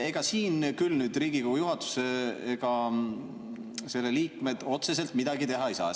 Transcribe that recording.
Ega siin küll Riigikogu juhatus ja selle liikmed otseselt midagi teha ei saa.